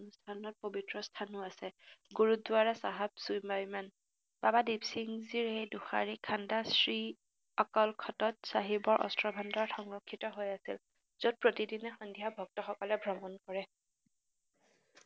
স্থানত পবিত্ৰ স্থানো আছে। গুৰুদ্বাৰা চাহেব চুইমাইমান বাবা দিপ সিং জীৰ এই দুষাৰি খান্দা শ্ৰী অকাল খতত চাহিবৰ অষ্ট্ৰ-ভাণ্ডাৰ সংৰক্ষিত হৈ আছিল, যত প্ৰতিদিনে সন্ধিয়া ভক্তসকলে ভ্ৰমণ কৰে।